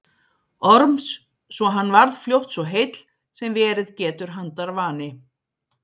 Orms svo hann varð fljótt svo heill sem verið getur handarvani.